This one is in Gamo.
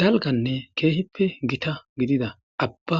dalganne keehippe gita gidida abba